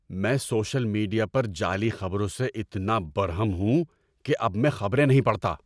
میں social media پر جعلی خبروں سے اتنا برہم ہوں کہ اب میں خبریں نہیں پڑھتا۔